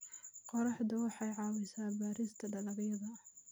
Qorraxdu waxay caawisaa beerista dalagyada.